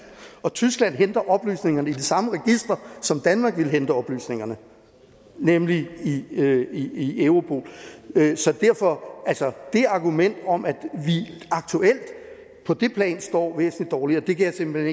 og tyskland henter oplysningerne i det samme register som danmark ville hente oplysningerne i nemlig i europol så det argument om at vi aktuelt på det plan står væsentlig dårligere kan jeg simpelt